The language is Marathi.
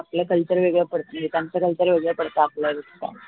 आपलं culture वेगळं पडत त्यांचं culture वेगळं पडत आपल्या दृष्टीने